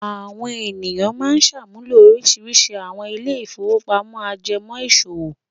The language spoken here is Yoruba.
Àwọn ènìyàn máa ń ṣàmúlò oríṣiríṣi àwọn ilé-ìfowópamọ́sí ajẹmọ́ okòwò.